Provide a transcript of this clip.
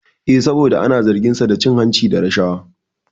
Eh, saboda ana zargin sa da cin hanci da rashawa